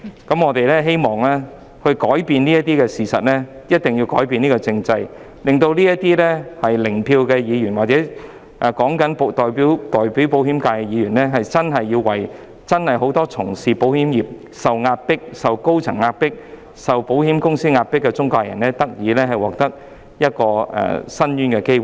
因此，如果我們想改變現實，便必須先改革政制，令這些 "0 票"議員或代表保險業界的議員，真正為受到保險公司高層壓迫的保險中介人及保險從業員發聲，為他們爭取申訴的機會。